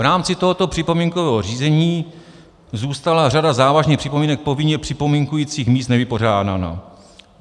V rámci tohoto připomínkového řízení zůstala řada závažných připomínek povinně připomínkujících míst nevypořádaná.